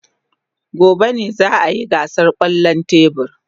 Gobe ​​ne za a yi gasar kwallon tebur.